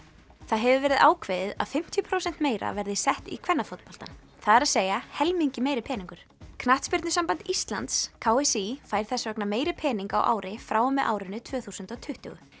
það hefur verið ákveðið að fimmtíu prósent meira verði sett í kvennafótboltann það er að helmingi meiri peningur knattspyrnusamband Íslands k s í fær þess vegna meiri pening á ári frá og með árinu tvö þúsund og tuttugu